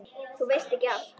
Þú veist ekki allt.